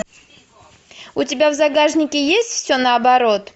у тебя в загашнике есть все наоборот